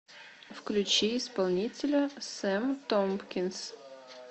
включи исполнителя сэм томпкинс